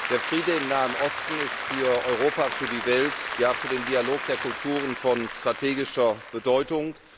Der Friede im Nahen Osten ist für Europa, für die Welt, ja für den Dialog der Kulturen von strategischer Bedeutung.